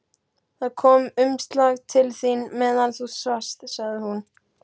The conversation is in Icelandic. Það kom umslag til þín meðan þú svafst, sagði hún.